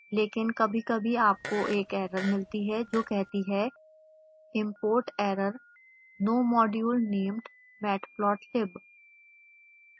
लेकिन कभीकभी आपको एक एरर मिलती है जो कहती है